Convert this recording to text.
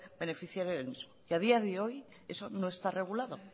beneficiario del mismo y a día de hoy eso no está regulado